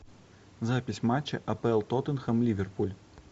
запись матча апл тоттенхэм ливерпуль